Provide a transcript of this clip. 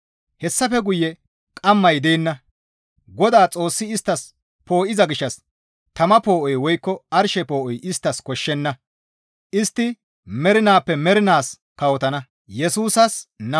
Hessafe guye qamay deenna; Godaa Xoossi isttas poo7iza gishshas tama poo7oy woykko arshe poo7oy isttas koshshenna; istti mernaappe mernaas kawotana.